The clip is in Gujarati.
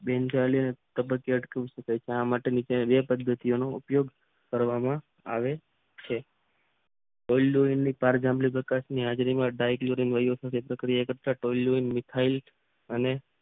જેમ પદ્ધતિ આ માટે ની બે શબ્દની ઉપયોગ કરવામાં આવે છે. પારિજારીક જામ્બલીમાં હાજરીમાં ડાયટ રહ્યું છે. ઇથાઇલ અને